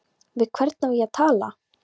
Við hvern á ég að tala?